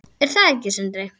Er það ekki Sindri?